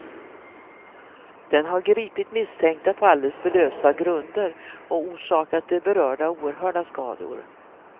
Den har gripit misstänkta på alldeles för lösa grunder och orsakat de berörda oerhörda skador.